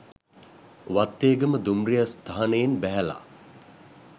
වත්තේගම දුම්රිය ස්ථානයෙන් බැහැල